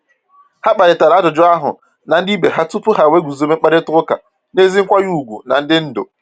Ha kparịtara ajụjụ ahụ na ndị ibe ha tupu ha wee guzobe mkparịta ụka n’ezi nkwanye ùgwù na ndị ndu.